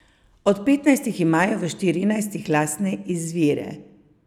Od petnajstih imajo v štirinajstih lastne izvire.